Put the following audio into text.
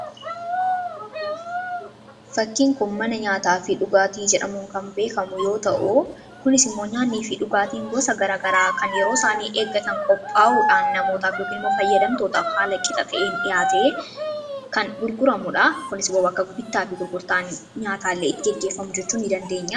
fakkiin kun mana nyaataa fi dhugaatii jedhamuun kan beekamu yoo ta'u kunisimmoon nyaannii fi dhugaatiin gosa gara garaa kan yeroo isaanii eeggatanii qophaa'uudhaan namootaaf yookin immoo fayyadamtootaaf haala qixa ta'een dhihaate kan gurguramuudha.